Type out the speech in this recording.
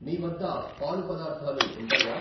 మీవద్ద పాలు పదార్ధాలు ఉంటాయా?